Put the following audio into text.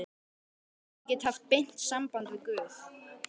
Ég get haft beint samband við guð.